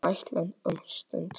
Alltént um stund.